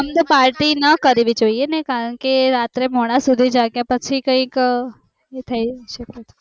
આમ તો party ના કરવી જોઈં એકારણ કે રાત્રે મોડા સુધી પછી કયક એ થય શકે